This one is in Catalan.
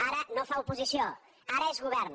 ara no fa oposició ara és govern